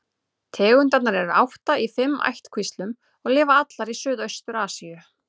Tegundirnar eru átta í fimm ættkvíslum og lifa allar í Suðaustur-Asíu.